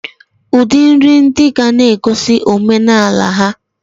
Udi nri ndi gana egosi omenala ha.